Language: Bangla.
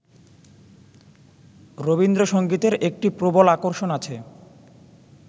রবীন্দ্রসংগীতের একটি প্রবল আকর্ষণ আছে